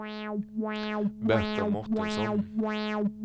Berta Mårtensson